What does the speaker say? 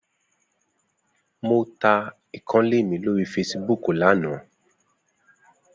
Mo ta ìkànnlé mi lórí feṣibúkù lánàá.